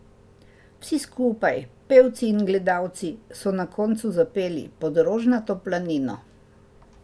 Vsi skupaj, pevci in gledalci, so na koncu zapeli Pod rožnato planino.